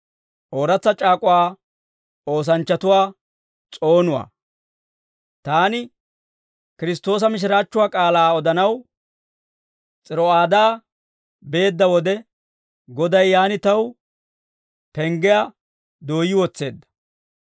Taani Kiristtoosa mishiraachchuwaa k'aalaa odanaw S'iro'aadaa beedda wode, Goday yaan taw penggiyaa dooyyi wotseedda.